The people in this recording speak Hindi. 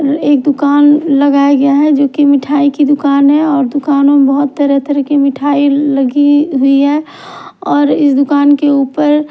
एक दुकान लगाया गया है जो कि मिठाई की दुकान है और दुकानों में बहुत तरह तरह के मिठाई लगी हुई है और इस दुकान के ऊपर--